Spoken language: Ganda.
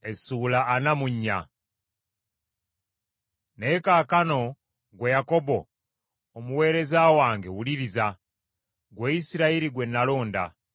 “Naye kaakano ggwe Yakobo omuweereza wange, wuliriza, ggwe Isirayiri gwe nalonda.